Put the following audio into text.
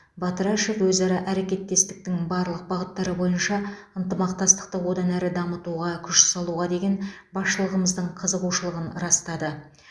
батырашев өзара әрекеттестіктің барлық бағыттары бойынша ынтымақтастықты одан әрі дамытуға күш салуға деген басшылығымыздың қызығушылығын растады